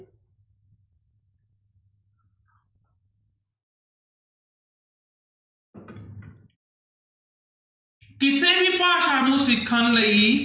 ਕਿਸੇ ਵੀ ਭਾਸ਼ਾ ਨੂੰ ਸਿੱਖਣ ਲਈ